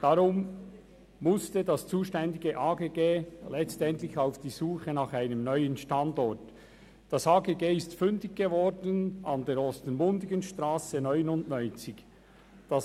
Daher musste sich das zuständige Amt für Grundstücke und Gebäude (AGG) letztlich auf die Suche nach einem neuen Standort begeben und wurde am Standort Ostermundigenstrasse 99 fündig.